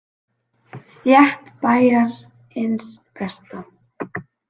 Frétt Bæjarins besta